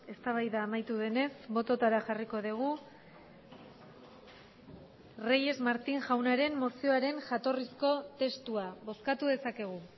eztabaida amaitu denez bototara jarriko dugu reyes martín jaunaren mozioaren jatorrizko testua bozkatu dezakegu